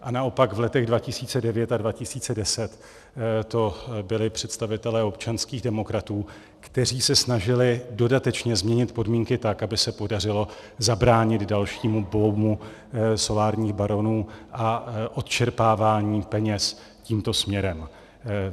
A naopak v letech 2009 a 2010 to byli představitelé občanských demokratů, kteří se snažili dodatečně změnit podmínky tak, aby se podařilo zabránit dalšímu boomu solárních baronů a odčerpávání peněz tímto směrem.